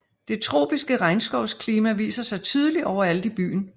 Det tropiske regnskovsklima viser sig tydeligt overalt i byen